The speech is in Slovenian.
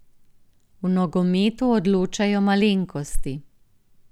V nogometu odločajo malenkosti.